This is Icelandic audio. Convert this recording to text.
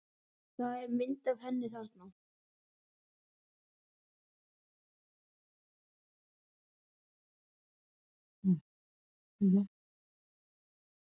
Það er mynd af henni þarna.